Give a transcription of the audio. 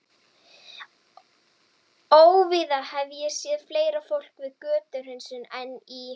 Óvíða hef ég séð fleira fólk við götuhreinsun en í